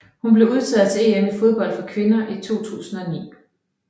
Hun blev udtaget til EM i fodbold for kvinder 2009